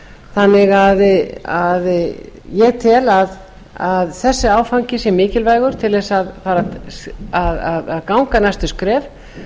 þannig að ég tel að þessi áfangi sé mikilvægur til að ganga næstu skref